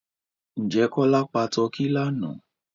Ǹjẹ́ Kọ́lá pa tọ́kì lánàá?